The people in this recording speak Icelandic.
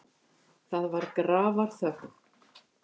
Það var grafarþögn.